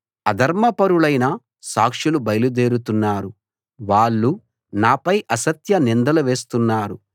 అధర్మపరులైన సాక్షులు బయల్దేరుతున్నారు వాళ్ళు నాపై అసత్య నిందలు వేస్తున్నారు